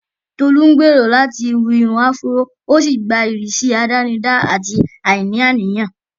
Tolú ń gbèrò láti hu irun áfúró, ó sì gba ìrísí àdánidá àti àìní àníyàn.